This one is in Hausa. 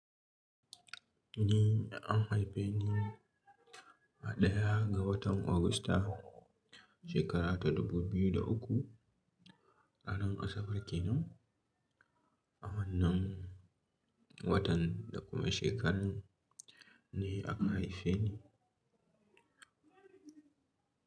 Ni, an haife ni a ɗaya ga watan Agusta, shekara ta 2003 a nan kasar kenan. A wannan watan da kuma shekarar ne aka haife ni.